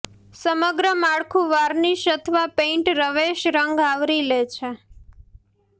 સમગ્ર માળખું વાર્નિશ અથવા પેઇન્ટ રવેશ રંગ આવરી લે છે